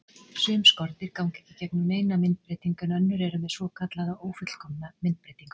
Sum skordýr ganga ekki í gegnum neina myndbreytingu en önnur eru með svokallaða ófullkomna myndbreytingu.